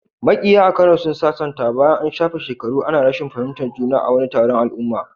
Makiya a Kano sun sasanta bayan an shafe shekaru ana rashin fahimtar juna a wani taron al'umma.